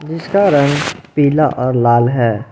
इसका रंग पीला और लाल है।